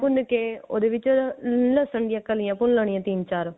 ਪਿਆਜ ਭੁੰਨ ਕੇ ਉਹਦੇ ਵਿੱਚ ਲਹਸਨ ਦੀਆਂ ਕਲੀਆਂ ਪਿਗਲਾਣਿਆਂ ਤਿੰਨ ਚਾਰ